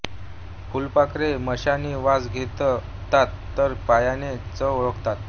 फुलपाखरे मिशानी वास घेतात तर पायाने चव ओळखतात